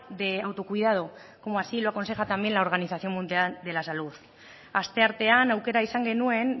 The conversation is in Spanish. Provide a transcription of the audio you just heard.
de autocuidado como así lo aconseja también la organización mundial de la salud asteartean aukera izan genuen